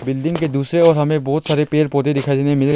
building के दूसरे ओर हमें बहुत सारे पेड़ पौधे दिखाई देने